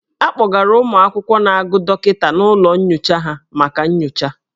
A kpọgara ụmụ akwụkwọ na-agụ dọkịta n'ụlọ nyocha ha maka nyocha.